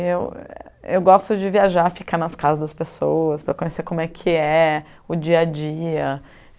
E eu eu gosto de viajar, ficar nas casas das pessoas para conhecer como é que é o dia a dia.